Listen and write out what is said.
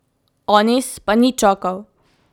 Anis pa ni čakal.